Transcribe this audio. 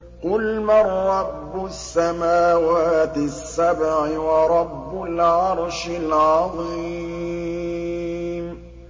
قُلْ مَن رَّبُّ السَّمَاوَاتِ السَّبْعِ وَرَبُّ الْعَرْشِ الْعَظِيمِ